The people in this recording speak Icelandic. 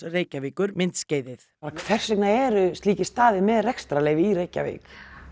Reykjavíkur myndskeiðið hvers vegna eru slíkir staðir með rekstrarleyfi í Reykjavík